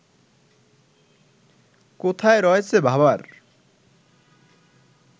কোথায় রয়েছে ভাবার